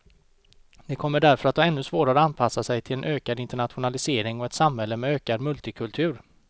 De kommer därför att ha ännu svårare att anpassa sig till en ökad internationalisering och ett samhälle med ökad multikultur.